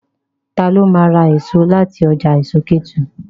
Ta ló ma ra èso láti ọjà èso Kétu?